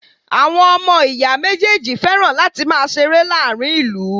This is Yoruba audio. Àwọn ọmọ ìyá méjèèjì fẹ́ràn láti máa ṣeré láàárín ìlú.